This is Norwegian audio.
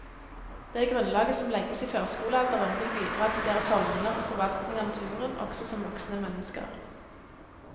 Det grunnlaget som legges i førskolealderen vil bidra til deres holdninger til forvaltning av naturen også som voksne mennesker.